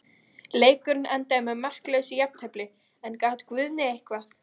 Leikurinn endaði með markalausu jafntefli, en gat Guðni eitthvað?